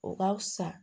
O ka fisa